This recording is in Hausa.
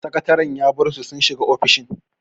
Sakataren ya bar su sun shiga ofishin.